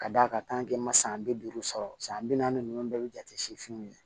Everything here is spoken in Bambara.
Ka d'a kan ma san bi duuru sɔrɔ san bi naani nunnu bɛɛ be jate sifinw ye